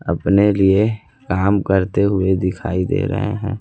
अपने लिए काम करते हुए दिखाई दे रहे हैं।